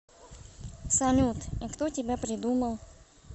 салют и кто тебя придумал